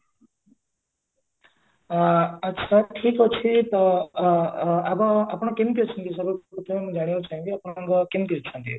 ଆ ଆଛା ଠିକ ଅଛି ତ ଆ ଆ ଆପଣ ଆପଣ କେମିତି ଅଛନ୍ତି ସବୁ ବିଷୟରେ ଆପଣ କେମିତି ଅଛନ୍ତି?